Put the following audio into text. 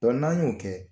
n'an y'o kɛ